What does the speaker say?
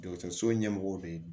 Dɔgɔtɔrɔso ɲɛmɔgɔw fɛ yen